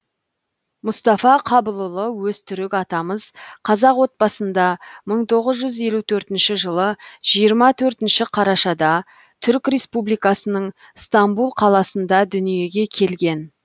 мұстафа қабылұлы өзтүрік атамыз қазақ отбасында мың тоғыз жүз елу төртінші жылы жиырма төртінші қарашада түрік республикасының стамбұл қаласында дүниеге келген